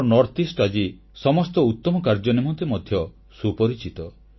ଆମର ଉତ୍ତରପୂର୍ବାଞ୍ଚଳ ଆଜି ସମସ୍ତ ଉତ୍ତମ କାର୍ଯ୍ୟ ନିମନ୍ତେ ମଧ୍ୟ ସୁପରିଚିତ